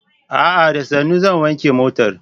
A'a! Da sannu zan wanke motar.